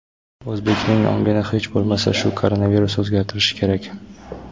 O‘zbekning ongini hech bo‘lmasa shu koronavirus o‘zgartirishi kerak.